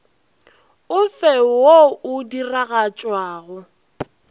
o fe wo o diragatšwago